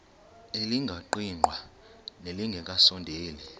elingaqingqwanga nelinge kasondeli